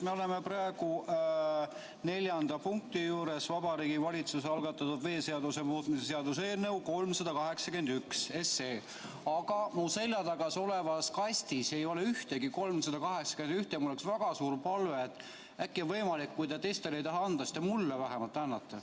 Me oleme praegu neljanda punkti juures, Vabariigi Valitsuse algatatud veeseaduse muutmise seaduse eelnõu 381, aga mu selja taga olevas kastis ei ole ühtegi eelnõu 381 teksti ja mul oleks väga suur palve, et äkki on võimalik, et kui te teistele ei taha seda anda, siis mulle vähemalt annate.